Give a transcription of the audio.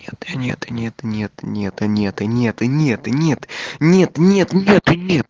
нет нет нет нет нет нет нет нет нет нет нет нет